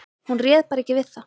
Hún réð bara ekki við það.